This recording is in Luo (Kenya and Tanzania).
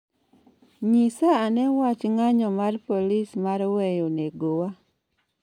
Nyisa ane wach ng'anyo mar polis mar weyo negowa